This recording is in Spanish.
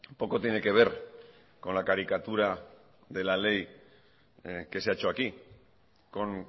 poco tiene que ver con la caricatura de la ley que se ha hecho aquí con